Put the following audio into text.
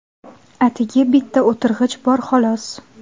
Atigi bitta o‘tirg‘ich bor, xolos.